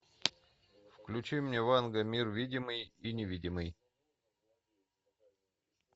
включи мне ванга мир видимый и невидимый